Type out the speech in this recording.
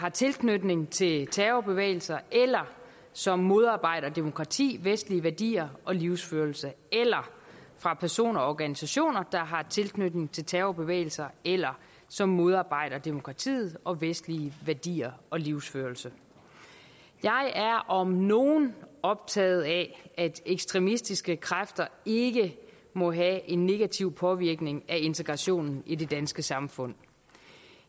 har tilknytning til terrorbevægelser eller som modarbejder demokrati vestlige værdier og livsførelse eller fra personer eller organisationer der har tilknytning til terrorbevægelser eller som modarbejder demokrati og vestlige værdier og livsførelse jeg er om nogen optaget af at ekstremistiske kræfter ikke må have en negativ påvirkning af integrationen i det danske samfund